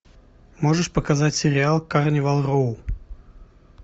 можешь показать сериал карнивал роу